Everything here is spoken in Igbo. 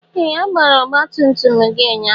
Ee! A gbara ọgbatumtum gị ụnyaahụ.